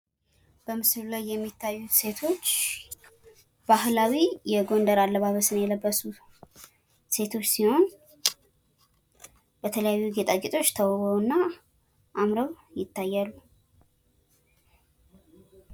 በምስሉ ላይ የሚታዩት ሴቶች ባህላዊ የጎንደር አለባበስን የለበሱ ሴቶች ሲሆን የተለያዩ ጌጣ ጌጦች ተውበውና አምረው ይታያሉ።